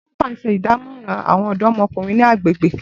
Christopher n ṣe idamọran awọn ọdọmọkunrin ni agbegbe.